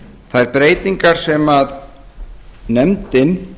þær breytingar sem nefndin